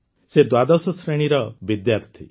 ସେ ଦ୍ୱାଦଶ ଶ୍ରେଣୀର ବିଦ୍ୟାର୍ଥୀ